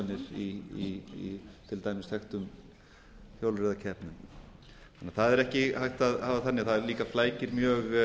í til dæmis þekktum hjólreiðakeppnum það er ekki hægt að hafa það þannig það flækir laga mjög